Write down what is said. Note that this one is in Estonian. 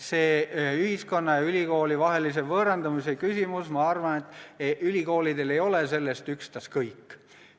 See ühiskonna ja ülikooli vahelise võõrandumise küsimus – ma arvan, et ülikoolidel ei ole sellest ükstaskõik.